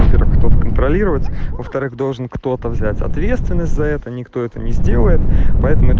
кто контролировать во-вторых должен кто-то взять ответственность за это никто это не сделает